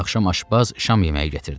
Axşam aşbaz şam yeməyi gətirdi.